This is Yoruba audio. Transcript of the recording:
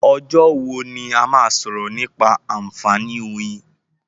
Ọjọ́ wo ni a máa sọ̀rọ̀ nípa àǹfààní oyin?